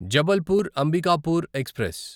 Jabalpur Ambikapur express